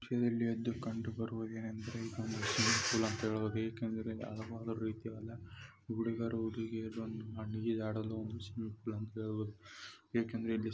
ಈ ದೃಶ್ಯದಲ್ಲಿ ಎದ್ದು ಕಂಡುಬರುವುದೇನೆಂದರೆ ಇದೊಂದು ಸ್ವಿಮ್ಮಿಂಗ್ ಪೂ ರಿ ಸುಮಾರು ಜನ ಆಟ ಆಡ್ತಿದ್ದಾರೆ. ಹುಡುಗರು-ಹುಡುಗಿಯರು ಜಮಾಯಿಸಿದ್ದಾರೆ ಏಕೆಂದರೆ ಇಲ್ಲಿ--